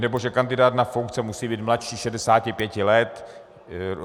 nebo že kandidát na soudce musí být mladší 65 let.